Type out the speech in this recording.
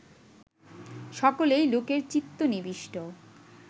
সকলেই লোকের চিত্ত নিবিষ্ট